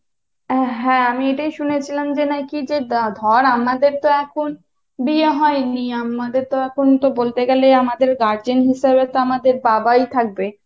হ্যাঁ আমি এটাই শুনেছিলাম যে নাকি যে ধর আমাদের তো এখন বিয়ে হয়নি আমাদের তো এখন বলতে গেলে আমাদের guardian হিসেবে তো আমাদের বাবাই থাকবে।